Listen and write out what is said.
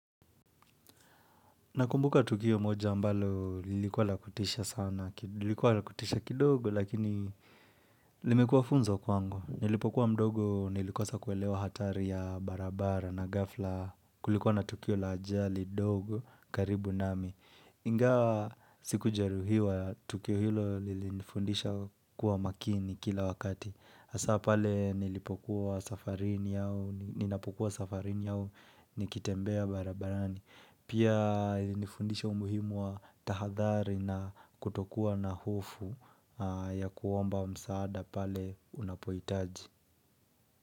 Nakumbuka Tukio moja mbalo lilikuwa lakutisha sana, lilikuwa lakutisha kidogo lakini limekuwa funzo kwangu. Nilipokuwa mdogo, nilikosa kuelewa hatari ya barabara na gafla kulikuwa na Tukio la ajali, dogo, karibu nami. Ingawa sikujeruhiwa, Tukio hilo lilinifundisha kuwa makini kila wakati. Hasa pale nilipokuwa safarini au ninapokuwa safarini au, nikitembea barabarani. Pia ilinifundisha umuhimu wa tahadhari na kutokuwa na hofu ya kuomba msaada pale unapoitaji.